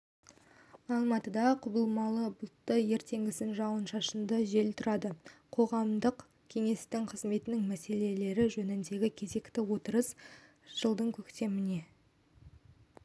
алматыда құбылмалы бұлтты ертеңгісін жауын-шашынды жел тұрады қоғамдық кеңестің қызметінің мәселелері жөніндегі кезекті отырысы жылдың көктеміне